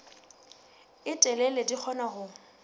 e telele di kgona ho